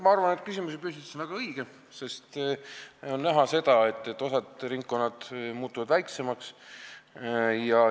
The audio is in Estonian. Ma arvan, et küsimuse püstitus on väga õige, sest on näha, et osa ringkondi muutub väiksemaks.